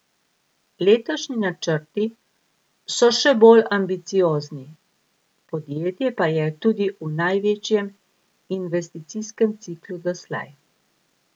Letošnji načrti so še bolj ambiciozni, podjetje pa je tudi v največjem investicijskem ciklu doslej.